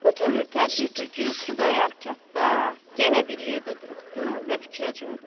Bu tövür tədbir töküb Xudayar kəndə yenə bir yerdə duruqdu və fikrə cumdu.